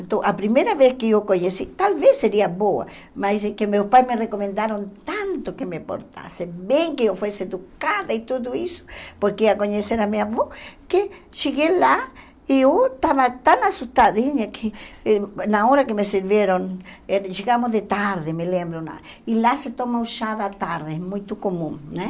Então, a primeira vez que eu conheci, talvez seria boa, mas é que meus pais me recomendaram tanto que me portasse bem, que eu fosse educada e tudo isso, porque ia conhecer a minha avó, que cheguei lá e eu estava tão assustadinha que na hora que me serviram, eh chegamos de tarde, me lembro lá, e lá se toma o chá da tarde, é muito comum, né?